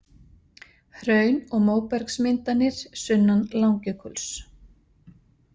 Hraun og móbergsmyndanir sunnan Langjökuls.